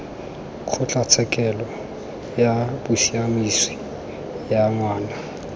kgotlatshekelo ya bosiamisi ya ngwana